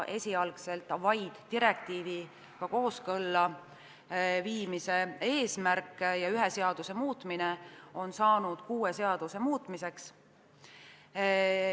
Esialgselt vaid direktiiviga kooskõlla viimise eesmärk ja ühe seaduse muutmine on saanud kuue seaduse muutmiseks.